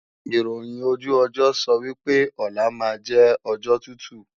Ìròhìn ojú ọjọ́ sọ wí pé, ọlá máa jẹ́ ọjọ́ tútù